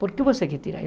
Por que você quer tirar?